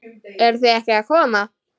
Eruð þið ekki að koma?